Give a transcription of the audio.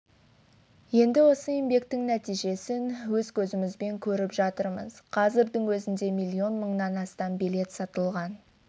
енді осы еңбектің нәтижесін өз көзімізбен көріп жатырмыз қазірдің өзінде миллион мыңнан астам билет сатылған